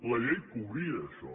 la llei ho cobria això